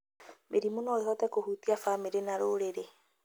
Mĩrimũ no ĩhote kũhutia bamĩrĩ na rũrĩrĩ